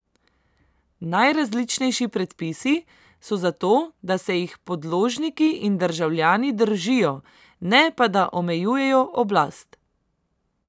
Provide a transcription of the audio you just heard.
Najrazličnejši predpisi so za to, da se jih podložniki in državljani držijo, ne pa da omejujejo oblast.